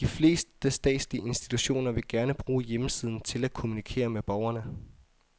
De fleste statslige institutioner vil gerne bruge hjemmesiden til at kommunikere med borgerne.